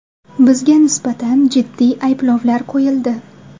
Bizga nisbatan jiddiy ayblovlar qo‘yildi.